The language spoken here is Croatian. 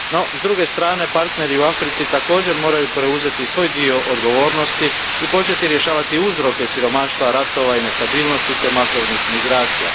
No s druge strane, partneri u Africi također moraju preuzeti svoj dio odgovornosti i početi rješavati uzroke siromaštva, ratova i nestabilnosti te masovnih migracija.